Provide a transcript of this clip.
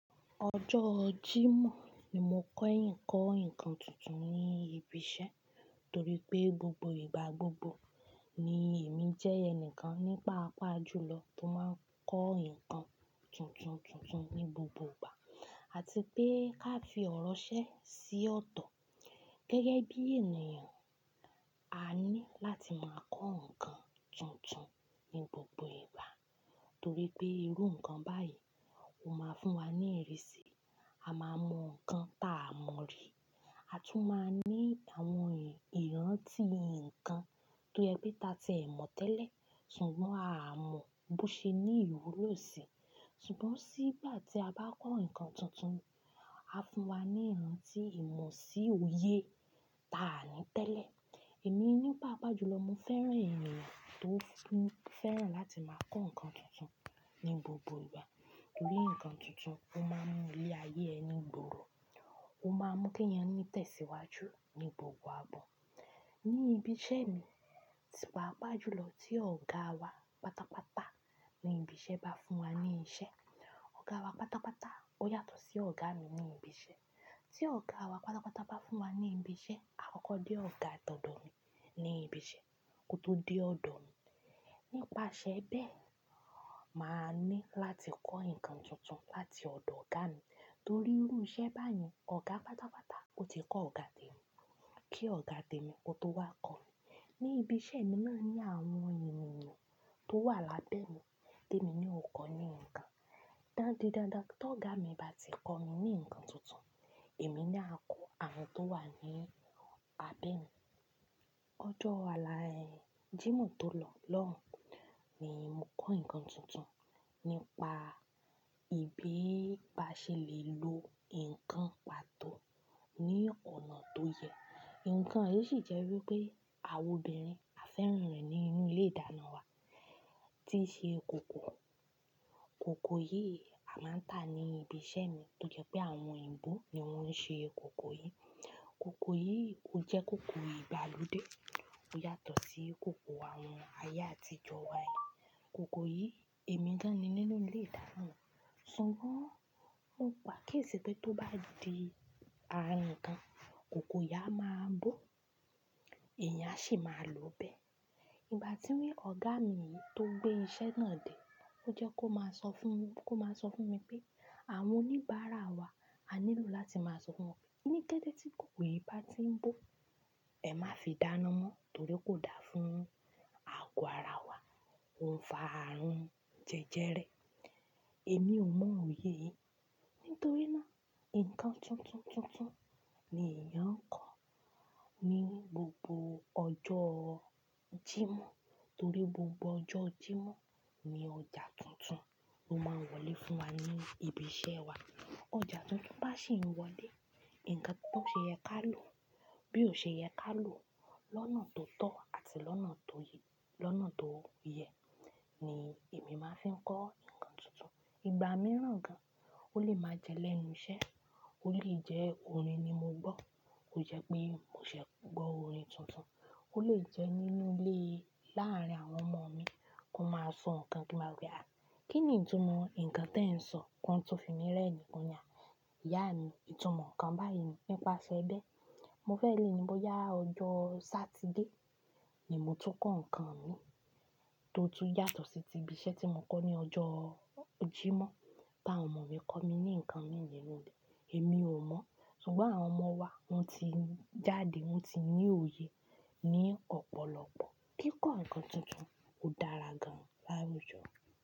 Ọjọ́ Jímọ̀ ni mo kọ́ eyìn kọ́ ǹkan tuntun ni ibi iṣẹ́ torí pé gbogbo ìgbà gbogbo ni èmi jẹ́ ẹni kan ní paàpá jùlọ tó máa n kọ́ ǹkan tuntun tuntun ní gbogbo ìgbà àti pé ká fi ọ̀rọ̀ sẹ́ sí ọ̀tọ̀. Gẹ́gẹ́ bí ènìyàn, a ní láti máa kọ́ ǹkan tuntun ní gbogbo ìgbà torí pé irú ǹkan báyìí ò máa fún wa ní ìrísí. A máa mọ ǹkan tá a mọ rí. A tún máa ní àwọn ìrántí ǹkan tó yẹ pé ta tí ẹ̀ mọ̀ tẹ́lẹ̀ ṣùgbọ́n a mọ̀ bó ṣe ní ìwú ló sì. Ṣùgbọ́n sí ìgbà tí a bá kọ́ ǹkan tuntun, á fún wa ní ìrántí ìmọ̀ sí òye táa ni tẹ́lẹ̀. Èmi ní paàpá jùlọ, mo fẹ́ràn ènìyàn tó fẹ́ràn láti máa kọ́ ǹkan tuntun ní gbogbo ìgbà torí ǹkan tuntun ó máa ń mú ilé ayé ẹni gbòòrò, ó máa ń mú ke ẹ̀èyàn tẹ̀síwájú ní gbogbo ààbò. Ní ibi iṣẹ́ mi, tí páàpá jùlọ tí ọ̀gá wa pátápátá ní ibi iṣẹ́ bá fún wa ní iṣẹ́, ọ̀gá wa pátápátá ó yàtọ̀ sí ọ̀gá mi ní ibi iṣẹ́. Tí ọ̀gá wa pátápátá bá fún wa ní ibi iṣẹ́, àkọ́kọ́ dé ọ̀gá tó do mi ní ibi iṣẹ́ kó tó dé ọ̀dọ̀ mi. Nípasẹ̀ bẹ́ẹ̀, màá ní láti kọ́ ǹkan tuntun láti ọ̀dọ̀ ọ̀gá mi torí irú iṣẹ́ báyen ọ̀gá pátápátá ó ti kọ́ ọ̀gá tèmi kí ọ̀gá tèmi kó tó wá kọ́ mi. Ní ibi iṣẹ́ mi mò máa ń ní àwọn ènìyàn tó wà lábẹ́ mi tèmi na ò kọ́ ní ǹkan. Dándín dandan tó ọ̀gá mi bá ti kọ́ mi ní ǹkan tuntun, èmi na a kọ́ àwọn tó wà ní abẹ mi. Ọjọ́ ala, Jímọ̀ tó lọ lọ́hun ni mo kọ́ ǹkan tuntun nípa ìbi baṣelè lo ǹkan pàtó ní ọ̀nà tó yẹ. Ǹkan yìí sì jẹ́ wípé àwọn obìnrin A fẹ́ràn rẹ̀ nínú ilé ìdáná wa tí ṣe ó kòkò. Kòkò yìí a máa ń tàá ní ibi iṣẹ́ mi tó jẹ́ pé àwọn òyìnbó ni wọ́n ń ṣe kòkò yìí. Kòkò yìí ó jẹ́ kòkò ìgbàlódé ó yàtọ̀ sí kòkò àwọn ayé àtijọ́ wa yìí. Kòkò yìí èmi gán ni nínú ilé ìdáná mi ṣùgbọ́n mo gbà akíyèsì pé tó bá di àárín ǹkan, kòkò yìí a máa bó èèyàn á sì máa lo bẹ́ẹ̀. Ìgbà tí wí ọ̀gá mi yìí tó gbé iṣẹ́ náà dé ó jẹ́ kó máa sọ fún mi, kó máa sọ fún mi pé àwọn oníbàárà wa a nílò láti máa sọ fún wọn pé ní dédé tí kòkò yìí bá tí ń bó, ẹ má fi dáná mọ́ torí kò da fún àgọ́ ara wa, ó ń fa àrùn jẹjẹrẹ. Èmi ò mọ òye yìí. Nítorí náà ǹkan tuntun tuntun ni èèyàn ń kọ́ ní gbogbo ọjọ́ Jímọ̀ torí gbogbo ọjọ́ Jímọ̀ ni ọjà tuntun tó máa ń wọlé fún wa ní ibi iṣẹ́ wa. Ọjà tuntun bá sì ń wọlé, ǹkan tó ṣe yẹ ká lò bí ò ṣe yẹ ká lò lọ́nà tó tọ́ àti lọ́nà tó yẹ ni èmi máa fi ń kọ́ ǹkan tuntun. Ìgbà mìíràn gan, ó lè máa jẹ́ lẹ́nu iṣẹ́, ó lè jẹ́ orin ní mo gbọ́, ó jẹ́ pé mò ṣẹ̀ gbọ́ orin tuntun, ó lè jẹ́ nínú ilé láàárín àwọn ọmọ mi kó máa sọ ǹkan kí ń má wo pé, "à, kí ni ìtumọ̀ ǹkan tí ẹ ń sọ?" Kọn to fi mí rẹ́ẹ̀ ni kò ní amí. Ìyá mi, ìtumọ̀ ǹkan báyìí ni. Nípasẹ̀ bẹ́ẹ̀, mo fẹ́ lé ni bóyá ọjọ́ Satide ni mo tó kọ́ ǹkan mi tó tú yàtọ̀ sí ti ibi iṣẹ́ tí mo kọ́ ní ọjọ́ Jímọ̀ tí àwọn ọmọ mi kọ́ mi ní ǹkan mìíràn ni èmi ò mọ̀ ṣùgbọ́n àwọn ọmọ wa wọ́n ti jáde, wọ́n ti ní òye ní ọ̀pọ̀lọpọ̀ kí ǹkan tuntun ó dára gan lárugẹ.